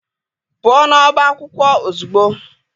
Pụo n'ọbá akwụkwọ ozugbo!